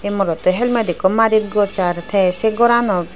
ey morotto helmet ekko madit gossar te se goranot.